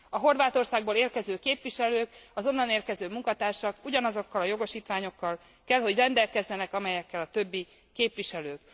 A Horvátországból érkező képviselők, az onnan érkező munkatársak ugyanazokkal a jogosítványokkal kell, hogy rendelkezzenek, amelyekkel a többi képviselő.